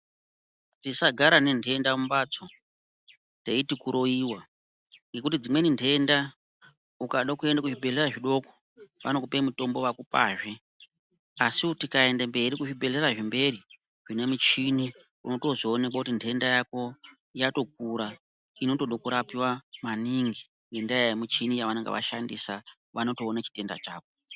Tisagara nentenda mumhatso teiti kuroiwa ngekuti dzimweni ntenda ukada kuenda kuzvibhehlera zvidoko vanokupa mutombo vakupazve. Asiwo tikaenda mberi kuzvibhehlera zvemberi zvinemuchini unotozoonekwa kuti nhenda yako yatokura inotoda kurapiwa maningi ngendaa yemichini yaanenge ashandisa anotoona chitenda chako.